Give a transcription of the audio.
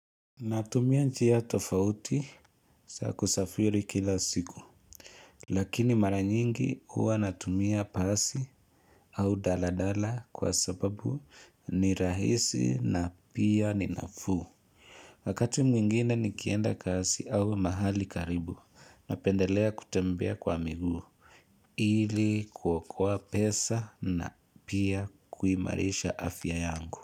Natumia njia tofauti za kusafiri kila siku Lakini mara nyingi huwa natumia basi au daladala kwa sababu ni rahisi na pia ni nafuu Wakati mwingine nikienda kazi au mahali karibu napendelea kutembea kwa miguu ili kuokoa pesa na pia kuimarisha afya yangu.